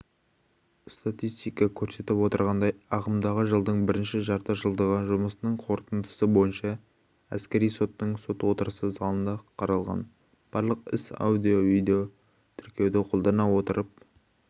статистика көрсетіп отырғандай ағымдағы жылдың бірінші жартыжылдығы жұмысының қорытындысы бойынша әскери соттың сот отырысы залында қаралған барлық іс аудиовидеотіркеуді қолдана отырып